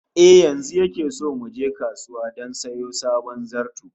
Eh, yanzu yake so mu je kasuwa don sayo sabon zarto